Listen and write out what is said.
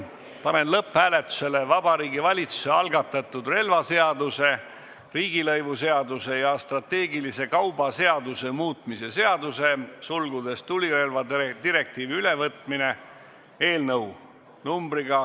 Panen lõpphääletusele Vabariigi Valitsuse algatatud relvaseaduse, riigilõivuseaduse ja strateegilise kauba seaduse muutmise seaduse eelnõu .